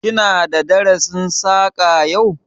Ki na da darasin Saƙa yau?